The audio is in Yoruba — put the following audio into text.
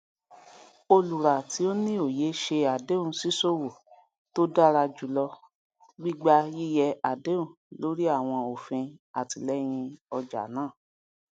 olùrà tí ó ní òye ṣe àdéhùn ṣíṣòwò tó dára jùlọ gbígbà yíyẹ àdéhùn lórí àwọn òfin àtìlẹyìn ọja náà